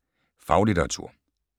Faglitteratur